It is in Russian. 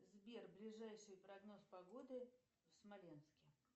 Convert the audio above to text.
сбер ближайший прогноз погоды в смоленске